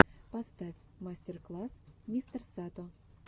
поставь мастер класс мистерсато